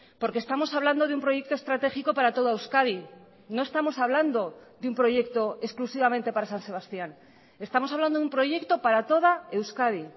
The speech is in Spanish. porque estamos hablando de un proyecto estratégico para toda euskadi no estamos hablando de un proyecto exclusivamente para san sebastián estamos hablando de un proyecto para toda euskadi